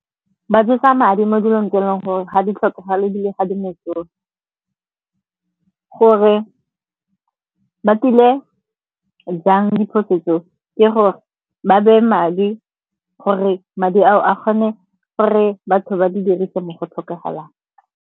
Ba jesa madi mo dilong tse e leng gore ga di tlhokagale ebile ga di mosola. Gore ba tile jang diphoso tseo ke gore ba beye madi, gore madi ao a kgone gore batho ba di dirise mo go tlhokagalang.